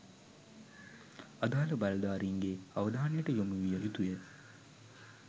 අදාළ බලධාරීන්ගේ අවධානයට යොමු විය යුතුය